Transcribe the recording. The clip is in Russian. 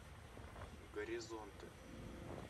горизонты